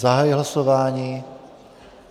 Zahajuji hlasování.